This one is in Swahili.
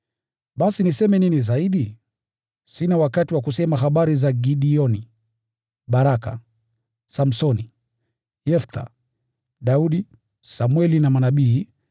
Basi niseme nini zaidi? Sina wakati wa kusema habari za Gideoni, Baraka, Samsoni, Yeftha, Daudi, Samweli na manabii,